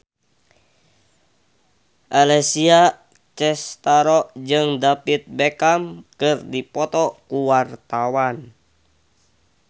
Alessia Cestaro jeung David Beckham keur dipoto ku wartawan